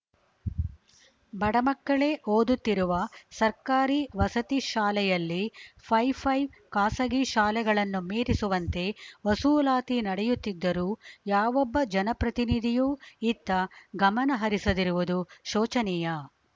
ಬಡಮಕ್ಕಳೇ ಓದುತ್ತಿರುವ ಸರ್ಕಾರಿ ವಸತಿ ಶಾಲೆಯಲ್ಲಿ ಪೈಫೈ ಖಾಸಗಿ ಶಾಲೆಗಳನ್ನು ಮೀರಿಸುವಂತೆ ವಸೂಲಾತಿ ನಡೆಯುತ್ತಿದ್ದರೂ ಯಾವೊಬ್ಬ ಜನಪ್ರತಿನಿಧಿಯೂ ಇತ್ತ ಗಮನ ಹರಿಸದಿರುವುದು ಶೋಚನೀಯ